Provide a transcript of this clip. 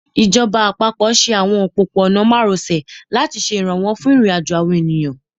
Ìjọba àpapọ̀ ṣe àwọn òpópó-ọ̀nà márosẹ̀ láti ṣe ìrànwọ́ fún ìrìnàjò àwọn èèyàn